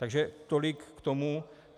Takže tolik k tomu.